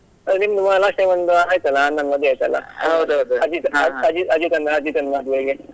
ಹೌದು ನಿಮ್ದು last time ಒಂದು ಆಯ್ತಲ್ಲ ಅಣ್ಣನ್ ಮದ್ವೆ ಆಯ್ತಲ್ಲ ಅಜಿತ್ ಅಜಿತ್ ಅಜಿತ್ ಅಣ್ಣ ಅಜಿತ್ ಅಣ್ಣನ್ ಮದ್ವೆಗೆ.